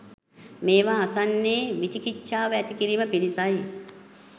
මේවා අසන්නේ විචිකිච්චාව ඇති කිරීම පිණිසයි.